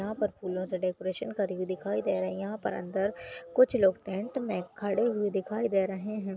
यहाँ पर फूलो से डेकोरेशन करी हुई दिखाई दे रही हैं यहां पर अंदर कुछ लोग टेंट में खड़े हुए दिखाई दे रहे हैं।